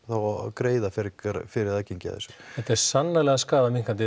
greiða frekar fyrir aðgengi að þessu þetta er sannarlega skaðaminnkandi